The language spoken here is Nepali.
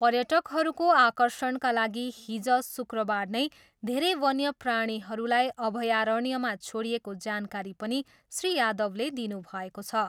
पर्यटकहरूको आर्कषणका लागि हिज शुक्रबार नै धेरै वन्य प्राणीहरूलाई अभयारण्यमा छोडिएको जानकारी पनि श्री यादवले दिनुभएको छ।